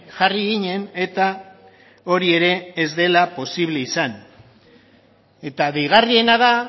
jarri ginen eta hori ere ez dela posible izan eta deigarriena da